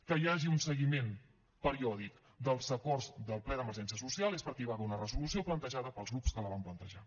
que hi hagi un seguiment periòdic dels acords del ple d’emergència social és perquè hi va haver una resolució plantejada pels grups que la vam plantejar